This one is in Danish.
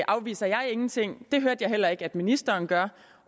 afviser jeg ingenting det hørte jeg heller ikke ministeren gøre